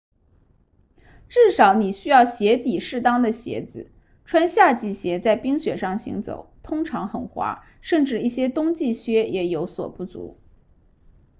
至少你需要鞋底适当的鞋子穿夏季鞋在冰雪上行走通常很滑甚至一些冬季靴也有所不足